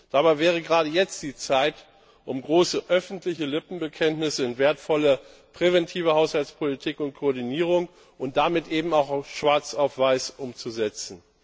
Dabei wäre gerade jetzt die Zeit, um große, öffentliche Lippenbekenntnisse in wertvolle, präventive Haushaltspolitik und Koordinierung und damit eben auch schwarz auf weiß umzusetzen.